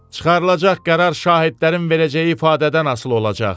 Çıxarılacaq qərar şahidlərin verəcəyi ifadədən asılı olacaq.